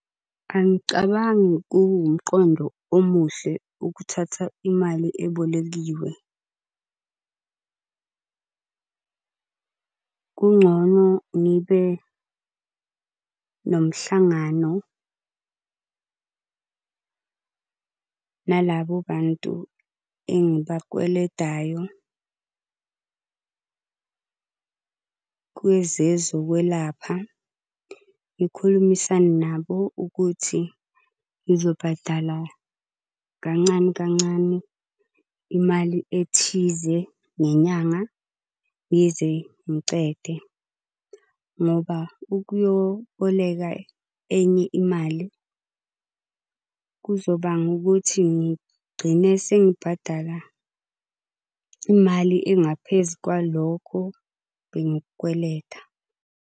Angicabangi kuwumqondo omuhle ukuthatha imali ebolekiwe . Kungcono ngibe nomhlangano nalabo bantu engibakweledayo kwezezokwelapha. Ngikhulumisane nabo ukuthi ngizobhadala kancane kancane imali ethize ngenyanga, ngize ngicede. Ngoba ukuyoboleka enye imali kuzobanga ukuthi ngigcine sengibhadala imali engaphezu kwalokho bengikukweleta.